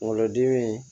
Kungolo dimi